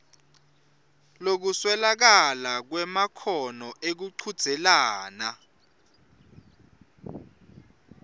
lokuswelakala kwemakhono ekuchudzelana